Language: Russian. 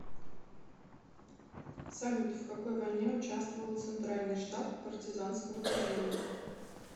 салют в какой войне участвовал центральный штаб партизанского движения